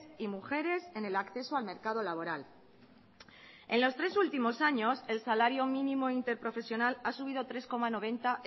y mujeres en el acceso al mercado laboral en los tres últimos años el salario mínimo interprofesional ha subido tres coma noventa